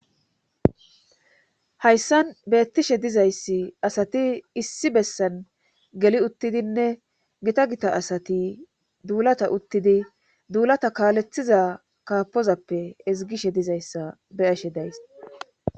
hayssan beettishe dizayssi asati issi bessan geli uttidinne gita gita asati duulata uttidi duulata kaalethiza kaapozappe ezigishe dizayssa be'ashe days